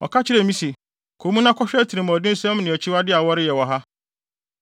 Ɔka kyerɛɛ me se, “Kɔ mu na kɔhwɛ atirimɔdensɛm ne akyiwade a wɔreyɛ wɔ ha.”